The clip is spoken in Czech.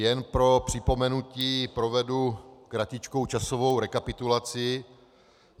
Jen pro připomenutí provedu kratičkou časovou rekapitulaci.